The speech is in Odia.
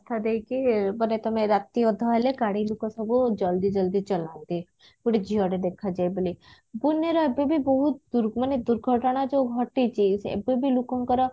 ରାସ୍ତା ଦେଇକି ବୋଧେ ତମେ ରାତିଅଧ ହେଲେ ଗାଡି ଲୁକ ସବୁ ଜଲଦି ଜଲଦି ଚଲାନ୍ତି ଗୋଟେ ଝିଅଟେ ଦେଖାଯାଏ ବୋଲି ପୁନେର ଏବେ ବି ବହୁତ ଦୂର ମାନେ ଦୁର୍ଘଟଣା ଯଉ ଘଟିଛି ଏବେ ବି ଲୁକଙ୍କର